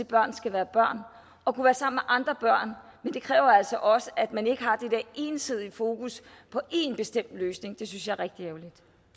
børn skal være børn og være sammen med andre børn men det kræver altså også at man ikke har det der ensidige fokus på en bestemt løsning det synes jeg er rigtig